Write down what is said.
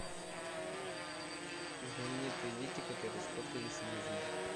знаменитые дети которые испортили себе жизнь